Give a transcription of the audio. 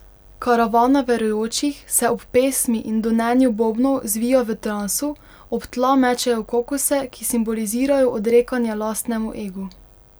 Karavana verujočih se ob pesmi in donenju bobnov zvija v transu, ob tla mečejo kokose, ki simbolizirajo odrekanje lastnemu egu.